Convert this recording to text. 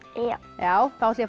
já þá ætla ég